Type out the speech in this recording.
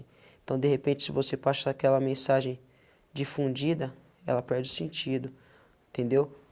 Então, de repente, se você passa aquela mensagem difundida, ela perde o sentido, entendeu?